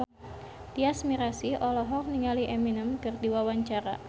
Tyas Mirasih olohok ningali Eminem keur diwawancara